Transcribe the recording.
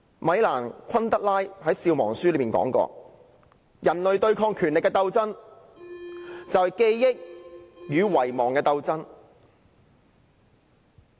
米蘭.昆德拉在《笑忘書》中曾說過："人類對抗權力的鬥爭，就是記憶與遺忘的鬥爭。